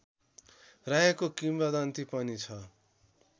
रहेको किम्बदन्ति पनि छ